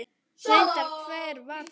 Reyndar hvar sem er.